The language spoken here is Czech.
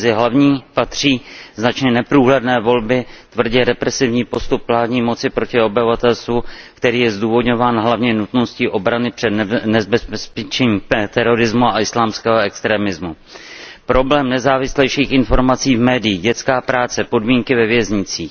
Mezi hlavní patří značně neprůhledné volby, tvrdě represivní postup vládní moci proti obyvatelstvu, který je zdůvodňován hlavně nutností obrany před nebezpečím terorismu a islámského extrémismu, problém nezávislejších informací v médiích, dětská práce, podmínky ve věznicích.